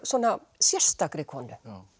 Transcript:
sérstakri konu